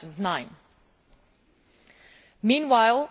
2009. Meanwhile,